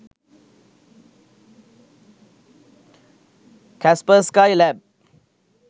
kaspersky lab